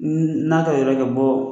N'a ka yɛrɛ kɛ bɔ